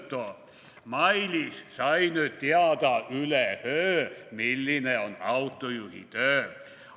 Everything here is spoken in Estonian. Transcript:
/ Mailis sai nüüd teada üleöö, / milline on autojuhi töö.